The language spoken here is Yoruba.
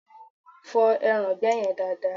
Fọ ẹraǹgbẹ́ yen dada!